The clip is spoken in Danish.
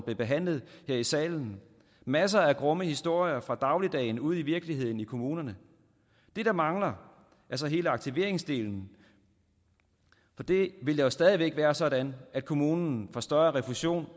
blev behandlet her i salen masser af grumme historier fra dagligdagen ude i virkeligheden i kommunerne det der mangler er så hele aktiveringsdelen det vil jo stadig væk være sådan at kommunen får større refusion